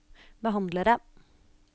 behandlere